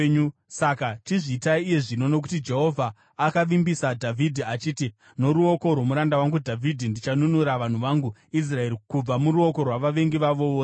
Saka chizviitai iye zvino! Nokuti Jehovha akavimbisa Dhavhidhi achiti, ‘Noruoko rwomuranda wangu Dhavhidhi ndichanunura vanhu vangu Israeri kubva muruoko rwavavengi vavo vose.’ ”